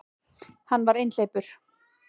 Hann var einhleypur.